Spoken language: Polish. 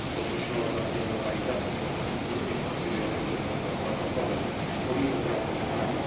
Podkreślono znaczenie normalizacji stosunków z również aspirującym do członkostwa Kosowem, pomimo braku uznania.